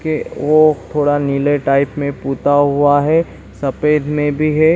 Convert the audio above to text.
के वो थोड़ा नीले टाइप में पुता हुआ है सफेद में भी है।